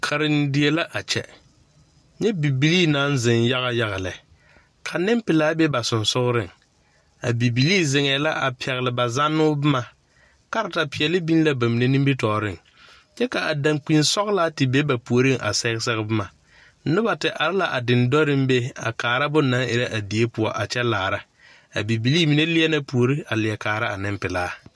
Karendie la a kyɛ nyɛ bibilii naŋ zeŋ yaga yaga lɛ ka nenpelaa be ba sensogreŋ a bibilii zeŋɛɛ la a pɛgle ba zannoo boma kartapeɛle biŋ la ba mine nimitɔɔreŋ kyɛ ka dankpinsɔglaa te be ba puoriŋa sɛge sɛge boma noba te are la a dendɔreŋ be a kaara bonnaŋ erɛ a die poɔ a kyɛ laara a bibilii mine leɛ na puori a leɛ kaara a nenpelaa.